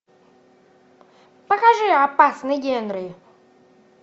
покажи опасный генри